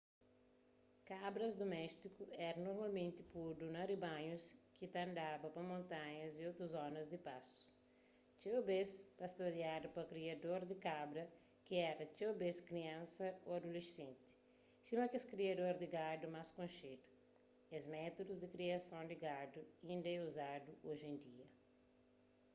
kabras duméstiku éra normalmenti podu na ribanhus ki ta andaba pa montanhas y otus zonas di pastu txeu bês pastoriadu pa kriador di kabra ki éra txeu bês kriansas ô adulesenti sima kes kriador di gadu más konxedu es métudus di kriason di gadu inda é uzadu oji en dia